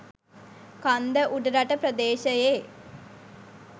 කන්ද උඩරට ප්‍රදේශයේ